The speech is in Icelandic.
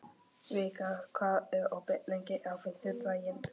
Vikar, hvað er opið lengi á fimmtudaginn?